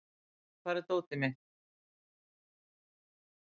Jafet, hvar er dótið mitt?